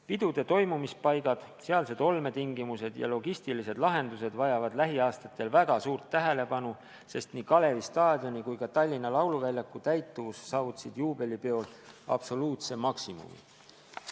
Pidude toimumispaigad, sealsed olmetingimused ja logistilised lahendused vajavad lähiaastatel väga suurt tähelepanu, sest nii Kalevi staadioni kui ka Tallinna lauluväljaku täituvus saavutasid juubelipeol absoluutse maksimumi.